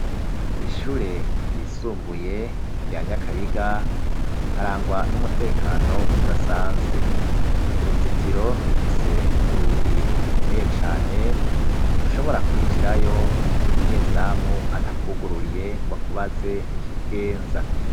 kw'ishure ryisumbuye rya nyakabiga harangwa n'umutekano udasanzwe uruzitiro rufise urugi rukomeye cane ntushobora kwinjirayo umunyezamu atakugururiye nga kubaze n'ikikugenza.